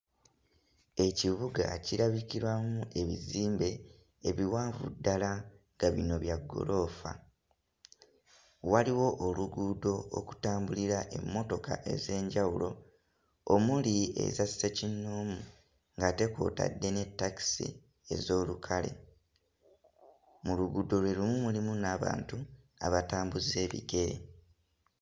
Ekibuga kirabikiramu ebizimbe ebiwanvu ddala nga bino bya ggoloofa. Waliwo oluguudo okutambulira emmotoka ez'enjawulo omuli eza ssekinnoomu, ng'ate kw'otadde ne takisi ez'olukale. Mu luguudo lwe lumu mulimu n'abantu abatambuza ebigere.